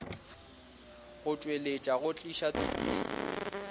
go tšweletša go tliša thušo